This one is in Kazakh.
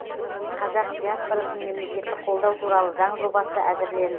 қазақ диаспорасын мемлекеттік қолдау туралы заң жобасы әзірленді